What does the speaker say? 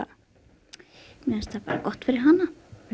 mér finnst það gott fyrir hana